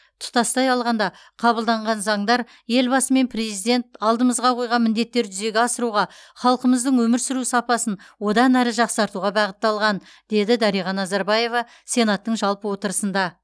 тұтастай алғанда қабылданған заңдар елбасы мен президент алдымызға қойған міндеттерді жүзеге асыруға халқымыздың өмір сүру сапасын одан әрі жақсартуға бағытталған деді дариға назарбаева сенаттың жалпы отырысында